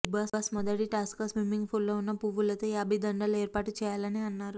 big boss మొదటి task గా swimming పూల్లో ఉన్న పువ్వులతో యాభై దండలు ఏర్పాటు చేయాలని అన్నారు